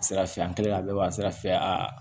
Sira fɛ an kɛlen ka bɛɛ b'a sira fɛ aa